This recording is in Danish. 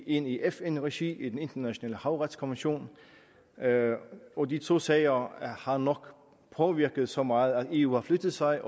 en i fn regi ved den internationale havretsdomstol og de to sager har nok påvirket så meget at eu har flyttet sig